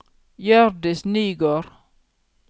Hjørdis Nygård